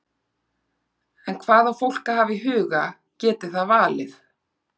En hvað á fólk að hafa í huga geti það valið?